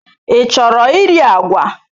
Ị chọrọ iri agwa?